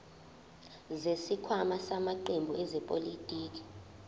zesikhwama samaqembu ezepolitiki